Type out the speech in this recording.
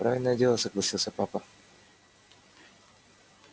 правильное дело согласился папа